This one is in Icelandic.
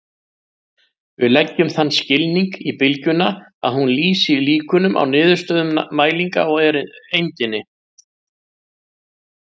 Við leggjum þann skilning í bylgjuna að hún lýsi líkunum á niðurstöðum mælinga á eindinni.